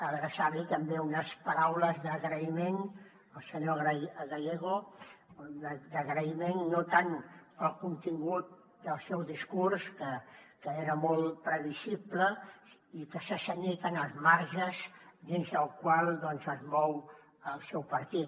adreçar li també unes paraules d’agraïment al senyor gallego d’agraïment no tant pel contingut del seu discurs que era molt previsible i que s’ha cenyit en els marges dins dels quals es mou el seu partit